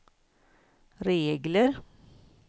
regler